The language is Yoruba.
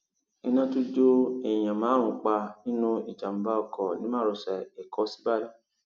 iná tún jó èèyàn márùn pa nínú ìjàmbá oko ní márosẹ ẹkọ síbàdàn